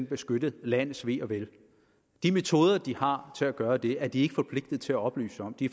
beskytte landets ve og vel de metoder de har til at gøre det med er de ikke forpligtet til at oplyse om de